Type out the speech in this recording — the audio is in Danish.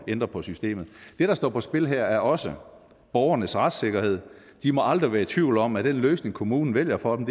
ændre på systemet det der står på spil her er også borgernes retssikkerhed de må aldrig være i tvivl om at den løsning kommunen vælger for dem